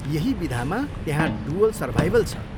यही विधामा त्यहाँ 'डुअल सर्भाइभल' छ।